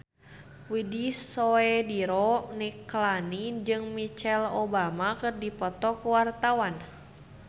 Widy Soediro Nichlany jeung Michelle Obama keur dipoto ku wartawan